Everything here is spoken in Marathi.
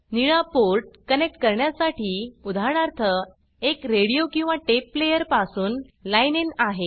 निळा पोर्ट कनेक्ट करण्यासाठी उदा एक रेडिओ किंवा टेप प्लेयर पासून लाईन inलाइन इन आहे